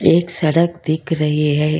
एक सड़क दिख रही है।